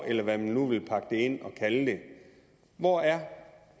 eller hvad man vil pakke det ind og kalde det hvor er